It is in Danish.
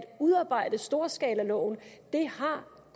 udarbejde storskalaloven det har